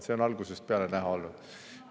See on algusest peale näha olnud.